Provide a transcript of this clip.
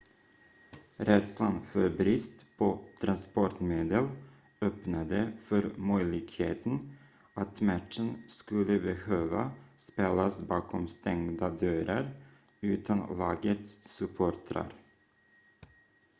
rädslan för brist på transportmedel öppnade för möjligheten att matchen skulle behöva spelas bakom stängda dörrar utan lagets supportrar